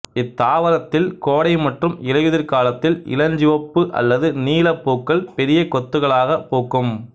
இத்தாவரத்தில் கோடை மற்றும் இலையுதிர்காலத்தில் இளஞ்சிவப்பு அல்லது நீல பூக்கள் பெரிய கொத்துக்களாகப் பூக்கும்